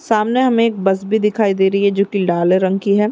सामने हमें एक बस भी दिखाई दे रही है जो की लाल रंग की है।